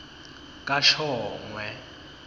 kashongwe